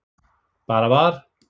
Bara var.